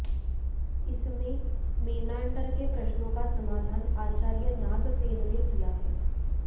इसमें मेनान्डर के प्रश्नों का समाधान आचार्य नागसेन ने किया है